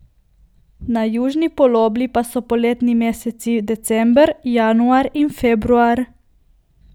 Na južni polobli pa so poletni meseci december, januar in februar.